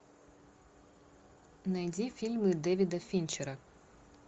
найди фильмы дэвида финчера